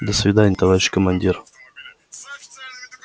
до свидания товарищ командир